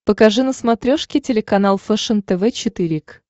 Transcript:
покажи на смотрешке телеканал фэшен тв четыре к